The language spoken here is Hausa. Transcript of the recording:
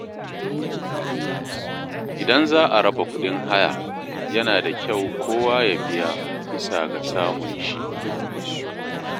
Idan za a raba kuɗin haya, yana da kyau kowa ya biya bisa ga samun shi.